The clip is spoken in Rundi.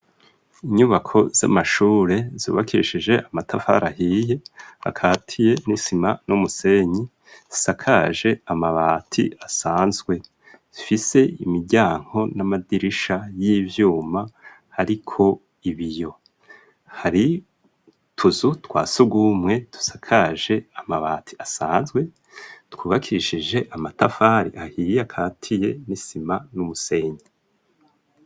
Inyubako z'amashure zubakishije amatafari ahiye ,akatiye n'isima n'umusenyi ,zisakaje amabati asanzwe .Zifise imiryango n'amadirisha y'ivyuma ariko ibiyo hari tuzu twasugumwe tusakaje amabati asanzwe twubakishije amatafari ahiye akatiye n'isima n'umusenyi.